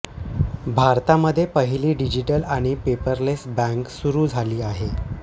भारतामध्ये पहिली डिजीटल आणि पेपरलेस बँक सुरू झाली आहे